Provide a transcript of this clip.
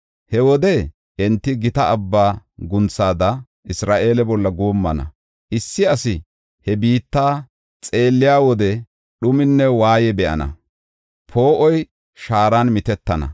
He wode enti gita abba guunthada Isra7eele bolla guummana. Issi asi he biitta xeelliya wode dhuminne waayey be7ana; poo7oy shaaran mitettana.